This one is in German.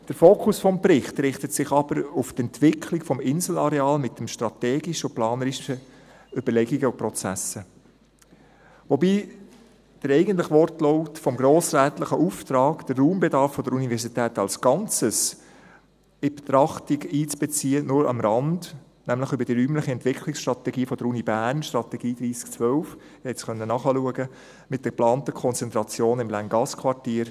Der Fokus des Berichts richtet sich aber auf die Entwicklung des Inselareals mit strategischen und planerischen Überlegungen und Prozessen, wobei der eigentliche Wortlaut des grossrätlichen Auftrags, den Raumbedarf der Universität als Ganzes in die Betrachtung einzubeziehen, nur am Rand behandelt wird, nämlich über die räumliche Entwicklungsstrategie der Uni Bern – die Strategie 3012, Sie konnten es nachschauen – mit der geplanten Konzentration in Länggassquartier.